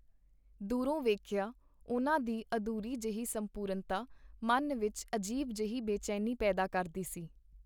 ਦੂਰੋਂ ਵੇਖਿਆਂ, ਉਹਨਾਂ ਦੀ ਅਧੂਰੀ ਜਹੀ ਸੰਪੂਰਨਤਾ ਮਨ ਵਿਚ ਅਜੀਬ ਜਿਹੀ ਬੇਚੈਨੀ ਪੈਦਾ ਕਰਦੀ ਸੀ.